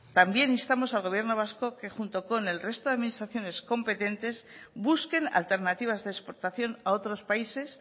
también instamos al gobierno vasco que junto con el resto de administraciones competentes busquen alternativas de exportación a otros países